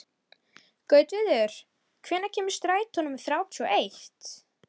Gautviður, hvenær kemur strætó númer þrjátíu og eitt?